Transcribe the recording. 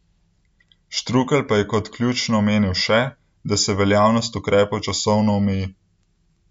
Štrukelj pa je kot ključno omenil še, da se veljavnost ukrepov časovno omeji.